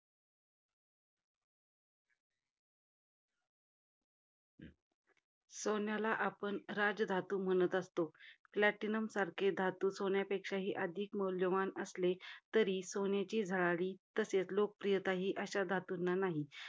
सोन्याला आपण राजधातू म्हणत असतो. Platinum सारखे धातू सोन्यापेक्षा अधिक मौल्यवान असले, तरी सोन्याची झळाळी आणि लोकप्रियता ही अशा धातूंना नाही.